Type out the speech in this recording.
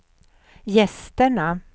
gästerna